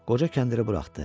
Qoca kəndiri buraxdı.